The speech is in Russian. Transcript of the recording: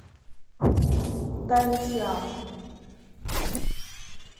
тайны сиама